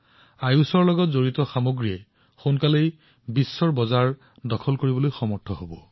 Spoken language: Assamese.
মই নিশ্চিত যে উন্নত মানদণ্ডৰ সামগ্ৰীৰ সৈতে ভাৰতৰ আয়ুষ ষ্টাৰ্টআপসমূহক অতি শীঘ্ৰেই সমগ্ৰ বিশ্বতে সামৰি লোৱা হব